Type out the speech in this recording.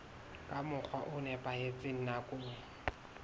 ka mokgwa o nepahetseng nakong